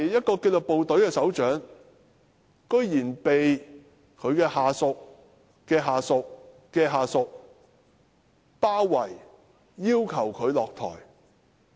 作為紀律部隊的首長，他居然被其下屬的下屬的下屬包圍，要求他下台。